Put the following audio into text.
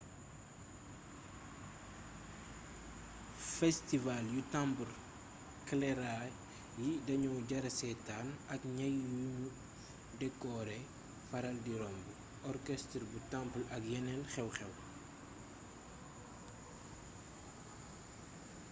festival yu temple kerala yi daño jara seetaan ak ñay yuñu dekoore faral di romb orchestre bu temple ak yeneen xew-xew